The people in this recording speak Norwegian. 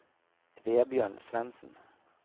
Vebjørn Svensen